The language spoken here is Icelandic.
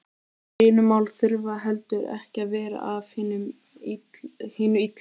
Deilumál þurfa heldur ekki að vera af hinu illa.